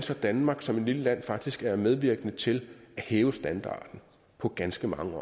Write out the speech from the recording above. danmark som et lille land så faktisk er medvirkende til at hæve standarden på ganske mange